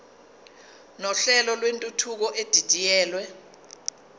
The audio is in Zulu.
nohlelo lwentuthuko edidiyelwe